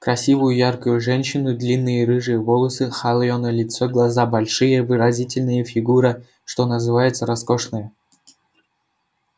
красивую яркую женщину длинные рыжие волосы холеное лицо глаза большие выразительные фигура что называется роскошная